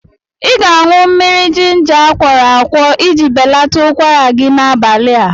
Ị ga-aṅụ mmiri jinja akwọrọ akwọ iji belata ụkwara gị n'abalịa